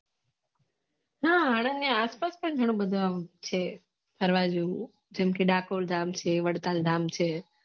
હા એના આસપાસ પણ ઘણુબધુ આમ છે ફરવા જેવુ જેમ કે ડકોર ગામ છે વડતાલ ગામ છે